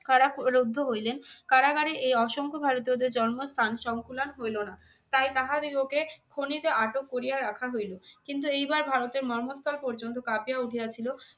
কারা রুদ্ধ হইলেন। কারাগারে এই অসংখ্য ভারতীয়দের জন্মস্থান সংকুলান হইল না। তাই তাহা দিগকে খনিতে আটক করিয়া রাখা হইল কিন্তু এইবার ভারতের মর্মস্থান পর্যন্ত কাঁপিয়া উঠিয়া ছিল।